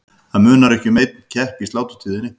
Það munar ekki um einn kepp í sláturtíðinni.